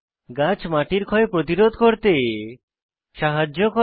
গাছ মাটির ক্ষয় প্রতিরোধ করতে সাহায্য করে